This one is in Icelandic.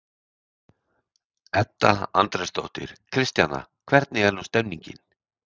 Edda Andrésdóttir: Kristjana, hvernig er nú stemningin?